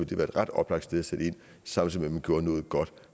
det være et ret oplagt sted at sætte ind samtidig med gjorde noget godt